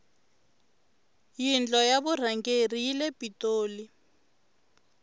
yindlo ya vurhangeri yile pitoli